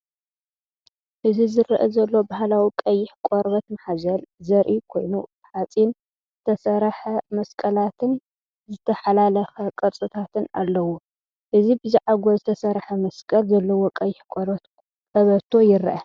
እዚ ዝረአ ዘሎ ባህላዊ ቀይሕ ቆርበት ማሕዘል ዘርኢ ኮይኑ፡ ብሓጺን ዝተሰርሐ መስቀላትን ዝተሓላለኸ ቅርጽታትን ኣለዎ። እዚ ብዛዕጎል ዝተሰርሐ መስቀል ዘለዎ ቀይሕ ቆርበት ቀበቶ ይርአ።